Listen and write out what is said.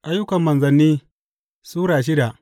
Ayyukan Manzanni Sura shida